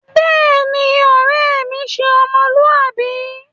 Béèni, ore mi se ́ọmọluwabi